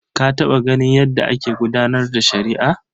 Ka taɓa ganin yadda ake gudanar da shari'a?